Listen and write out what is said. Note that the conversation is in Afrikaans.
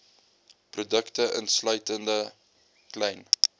produkte insluitende klein